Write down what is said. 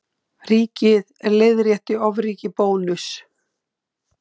Ríkið leiðrétti ofríki Bónuss